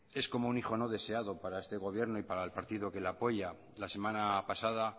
es como un hijo no deseado para este gobierno y para el partido que lo apoya la semana pasada